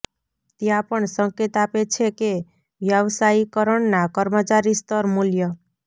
ત્યાં પણ સંકેત આપે છે કે વ્યાવસાયીકરણ ના કર્મચારી સ્તર મૂલ્ય